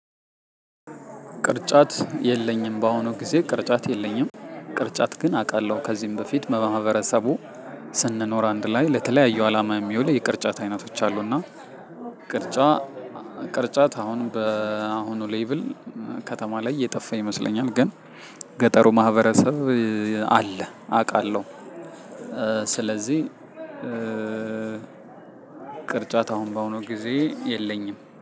ቅርጫት የለኝም በአሁኑ ጊዜ ቅርጫት የለኝም። ቅርጫት ግን አቃለሁ ከዚህም በፊት በማህበረሰቡ ስንኖር አንድ ላይ ለተለያዩ አላማ የሚውል የቅርጫት አይነቶች አሉና። ቅርጫ ቅርጫት አሁን በአሁኑ ሌቭል ከተማ ላይ እየጠፋ ይመስለኛል። ግን ገጠሩ ማህበረሰብ አለ አቃለሁ። ስለዚህ ቅርጫት አሁኑ ባሁኑ ጊዜ የለኝም